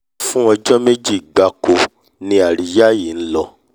fún ọjọ́ méjì gbáko ni àríyá yìí lọ